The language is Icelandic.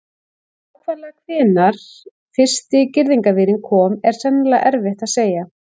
Nákvæmlega hvenær fyrsti girðingarvírinn kom er sennilega erfitt að segja.